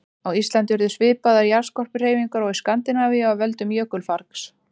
Á Íslandi urðu svipaðar jarðskorpuhreyfingar og í Skandinavíu af völdum jökulfargs.